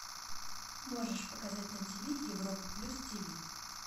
можешь показать на ти ви европа плюс ти ви